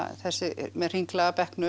þessi með hringlaga bekknum